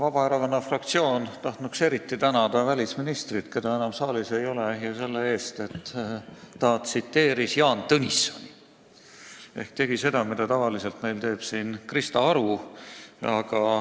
Vabaerakonna fraktsioon tahtnuks eriti tänada välisministrit, keda enam saalis ei ole, selle eest, et ta tsiteeris Jaan Tõnissoni ehk tegi seda, mida tavaliselt teeb siin Krista Aru.